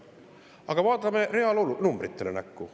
Aga vaatame numbritele näkku.